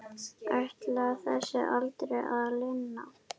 Ætlar þessu aldrei að linna?